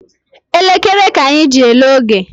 Elekere ka anyị ji ele oge